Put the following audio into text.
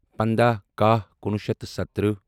پنٛداہ کَہہ کُنوُہ شیٚتھ تہٕ سَتتٕرہہ